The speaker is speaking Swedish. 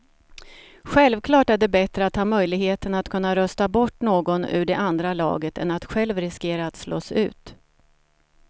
Självklart är det bättre att ha möjligheten att kunna rösta bort någon ur det andra laget än att själv riskera att slås ut.